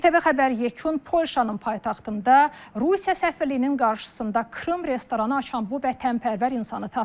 İTV Xəbər yekun Polşanın paytaxtında Rusiya səfirliyinin qarşısında Krım restoranı açan bu vətənpərvər insanı tapdı.